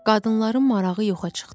Qadınların marağı yoxa çıxdı.